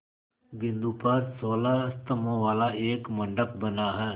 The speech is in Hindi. बिंदु पर सोलह स्तंभों वाला एक मंडप बना है